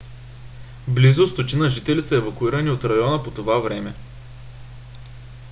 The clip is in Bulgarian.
близо 100 жители са евакуирани от района по това време